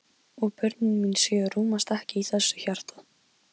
Varð eins og nýr maður á ótrúlega skömmum tíma.